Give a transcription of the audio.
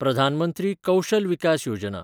Pradhan Mantri Kaushal Vikas Yojana